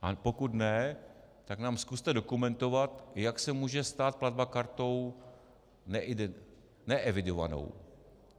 A pokud ne, tak nám zkuste dokumentovat, jak se může stát platba kartou neevidovanou.